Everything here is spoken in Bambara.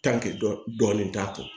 dɔɔni t'a kɔ